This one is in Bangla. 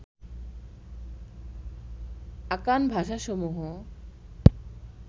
আকান ভাষাসমূহ